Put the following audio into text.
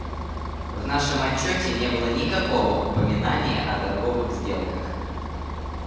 в нашем отчёте не было никакого упоминания о торговых сделках